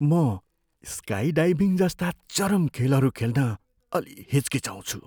म स्काइडाइभिङ जस्ता चरम खेलहरू खेल्न अलि हिचकिचाउँछु।